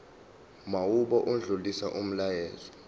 mawube odlulisa umyalezo